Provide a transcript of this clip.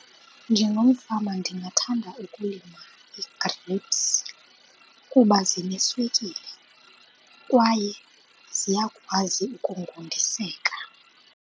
Njengomfama ndingathanda ukulima ii-grapes kuba zineswekile kwaye ziyakwazi ukungundiseka.